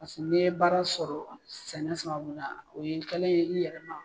Paseke olu ye baara sɔrɔ sɛnɛ sababu la, o ye kɛlen ye, i yɛrɛ ma